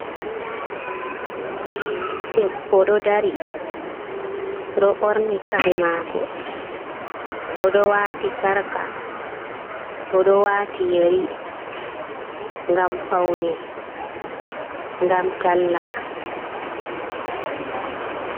Debbo ɗo dari, o ɗo ɓorni kare mako, o ɗo wati sarka, o ɗo wati yeri, ngam paune, ngam talla.